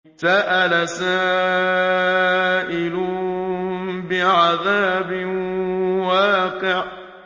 سَأَلَ سَائِلٌ بِعَذَابٍ وَاقِعٍ